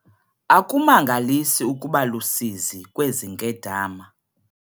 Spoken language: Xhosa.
Akumangalisi ukuba lusizi kwezi nkedama.